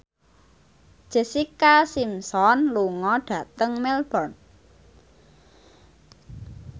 Jessica Simpson lunga dhateng Melbourne